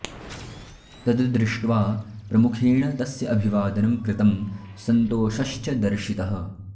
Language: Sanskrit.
तद् दृष्ट्वा प्रमुखेण तस्य अभिवादनं कृतं संन्तोषश्च दर्शितः